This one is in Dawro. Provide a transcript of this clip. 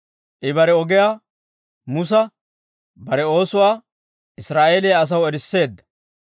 I bare ogiyaa Musa, bare oosuwaa Israa'eeliyaa asaw erisseedda.